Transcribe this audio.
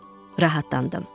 Rahatlandım.